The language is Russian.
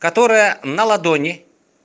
которая на ладони